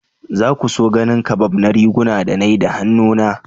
Za ku so ganin kabab na riguna da na yi da hannuna?